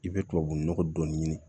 I bɛ tubabunɔgɔ dɔɔnin ɲini